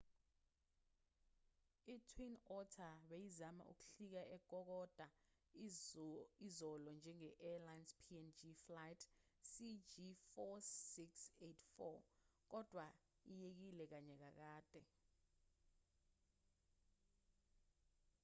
itwin otter beyizama ukuhlika ekokoda izolo njenge-arlines png flight cg4684 kodwa iyekile kanye kakade